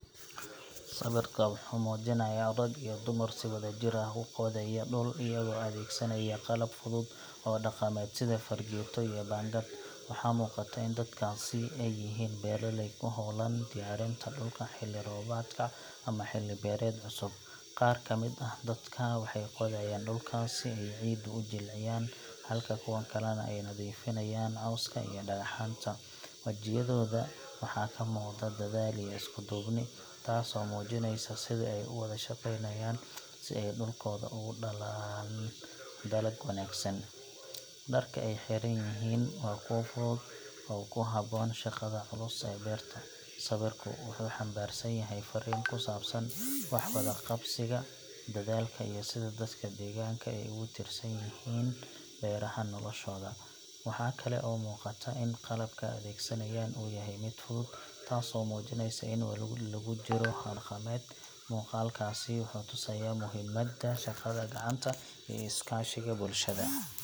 Sawirka wuxuu muujinayaa rag iyo dumar si wadajir ah u qodaya dhul iyagoo adeegsanaya qalab fudud oo dhaqameed sida fargeeto iyo baangad. Waxaa muuqata in dadkaasi ay yihiin beeraley ku howlan diyaarinta dhulka xilli roobaadka ama xilli beereed cusub. Qaar ka mid ah dadka waxay qodayaan dhulka si ay ciidda u jilciyaan, halka kuwa kalena ay nadiifinayaan cawska iyo dhagaxaanta. Wajiyadooda waxaa ka muuqda dadaal iyo isku duubni, taasoo muujinaysa sida ay u wada shaqaynayaan si ay dhulkooda uga dhalaan dalag wanaagsan. Dharka ay xiran yihiin waa kuwo fudud oo ku habboon shaqada culus ee beerta. Sawirku wuxuu xambaarsan yahay farriin ku saabsan wax wada qabsiga, dadaalka, iyo sida dadka deegaanka ay ugu tiirsan yihiin beeraha noloshooda. Waxaa kale oo muuqata in qalabka ay adeegsanayaan uu yahay mid fudud, taasoo muujinaysa in weli lagu jiro hab dhaqameed. Muuqaalkaasi wuxuu tusayaa muhiimadda shaqada gacanta iyo iskaashiga bulshada.